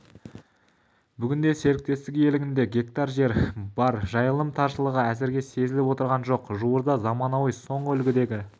бүгінде серіктестік иелігінде гектар жер бар жайылым таршылығы әзірге сезіліп отырған жоқ жуырда заманауи соңғы үлгідегі